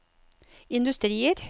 industrier